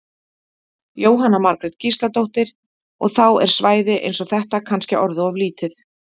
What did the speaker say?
Jóhanna Margrét Gísladóttir: Og þá er svæði eins og þetta kannski orðið of lítið?